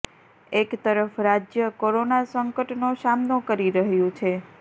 એક તરફ રાજ્ય કોરોના સંકટનો સામનો કરી રહ્યું છે